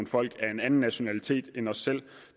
folk af en anden nationalitet end os selv